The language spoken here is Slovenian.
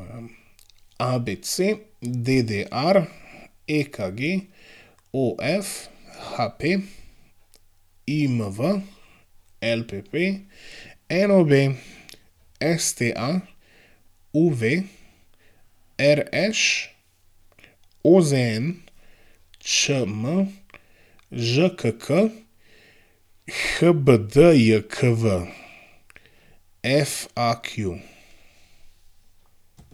ABC, DDR, EKG, OF, HP, IMV, LPP, NOB, STA, UV, RŠ, OZN, ČM, ŽKK, HBDJKV, FAQ.